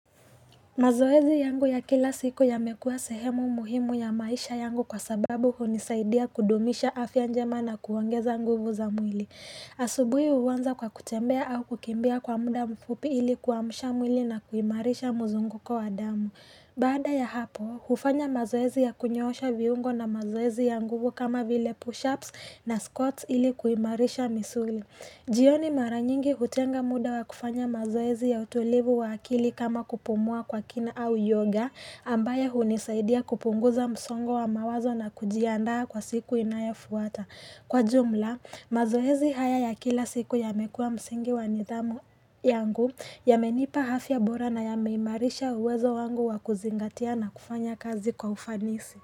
Mazoezi yangu ya kila siku yamekua sehemu muhimu ya maisha yangu kwa sababu hunisaidia kudumisha afya njema na kuongeza nguvu za mwili. Asubuhi huanza kwa kutembea au kukimbia kwa muda mfupi ili kuamsha mwili na kuimarisha mzunguko wa damu. Baada ya hapo, hufanya mazoezi ya kunyoosha viungo na mazoezi ya nguvu kama vile pushups na squats ili kuimarisha misuli. Jioni mara nyingi hutenga muda wa kufanya mazoezi ya utulivu wa akili kama kupumua kwa kina au yoga ambayo hunisaidia kupunguza msongo wa mawazo na kujiandaa kwa siku inayofuata. Kwa jumla, mazoezi haya ya kila siku yamekua msingi wanithamu yangu yamenipa afya bora nayameimarisha uwezo wangu wa kuzingatia na kufanya kazi kwa ufanisi.